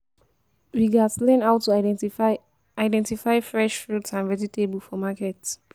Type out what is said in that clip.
We gats learn how to identify identify fresh fruits and vegetables for market.